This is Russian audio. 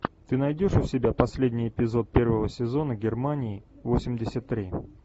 ты найдешь у себя последний эпизод первого сезона германии восемьдесят три